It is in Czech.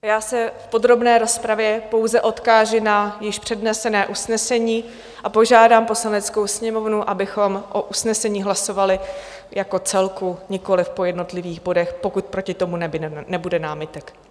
Já se v podrobné rozpravě pouze odkážu na již přednesené usnesení a požádám Poslaneckou sněmovnu, abychom o usnesení hlasovali jako celku, nikoliv po jednotlivých bodech, pokud proti tomu nebude námitek.